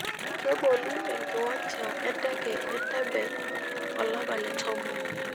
Keboli enkiwancha enteke e Entebbe olapa le tomon.